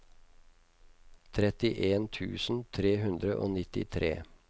trettien tusen tre hundre og nittitre